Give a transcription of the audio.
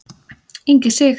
Ingi Sig.